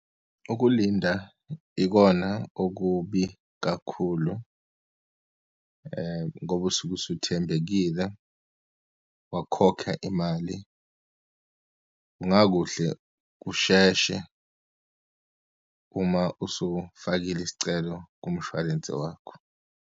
Ukulinda ikona okubi kakhulu ngoba usuke usuthembekile wakhokha imali. Kungakuhle kusheshe uma usufakile isicelo kumshwalense wakho.